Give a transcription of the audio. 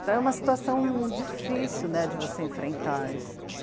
Então é uma situação difícil de você enfrentar isso.